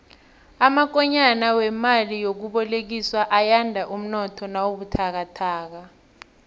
amakonyana wemali yokubolekiswa ayanda umnotho nawubuthakathaka